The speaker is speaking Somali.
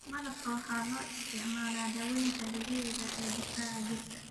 Malabka waxaa loo isticmaalaa daawaynta dabiiciga ah ee difaaca jirka.